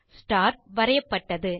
star வரையப்பட்டது